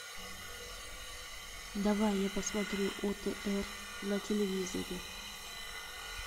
давай я посмотрю отр на телевизоре